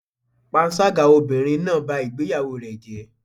Panṣágà obìnrin náà bá ìgbéyàwó rẹ̀ jẹ́.